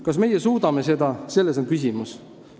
Kas meie seda suudame, selles on küsimus.